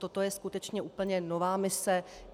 Toto je skutečně úplně nová mise.